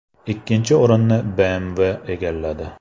Ikkinchi o‘rinni BMW egalladi.